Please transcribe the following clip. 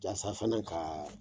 Jaasa fana ka